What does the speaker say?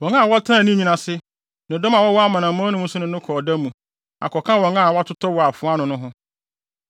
Wɔn a wɔtenaa ne nwini ase, ne ne dɔm a wɔwɔ amanaman no mu nso ne no kɔ ɔda mu, akɔka wɔn a wɔtotɔɔ wɔ afoa ano no ho.